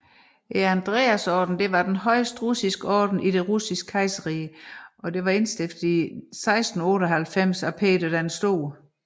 Andreasordenen var den højeste russiske orden i det Russiske Kejserrige og var indstiftet i 1698 af Peter den Store